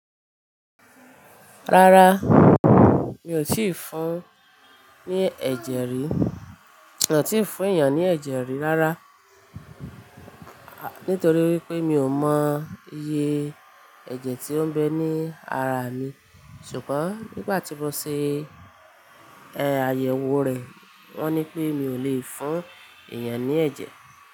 Rárá, mi ò tíì fún ní ẹ̀jẹ̀ rí, mi ò tíì fún èèyàn ní ẹ̀jẹ̀ rí rárá. Nítorí wípé mi ò mọ iyé ẹ̀jẹ̀ tí ó ń bẹ ní ara mi, ṣùgbọ́n nígbà tí mo ṣe, ẹ́ àyẹ̀wò rẹ̀ wọ́n ní pé mi ò lè fún ẹ̀yàn ní ẹ̀jẹ̀.